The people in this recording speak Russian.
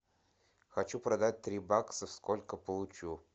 хочу продать три бакса сколько получу